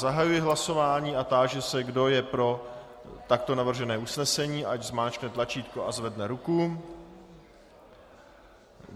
Zahajuji hlasování a táži se, kdo je pro takto navržené usnesení, ať zmáčkne tlačítko a zvedne ruku.